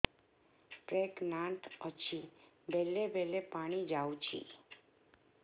pregnant ଅଛି ବେଳେ ବେଳେ ପାଣି ଯାଉଛି